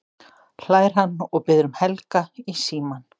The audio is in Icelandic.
hlær hann og biður um Helga í símann.